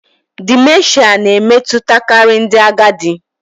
Dimenshịa na-emetụtakarị ndị agadi